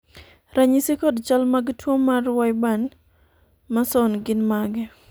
ranyisi kod chal mag tuo mar wyburn Mason gin mage ?